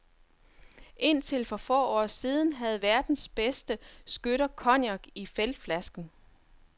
Indtil for få år siden havde verdens bedste skytter cognac i feltflasken.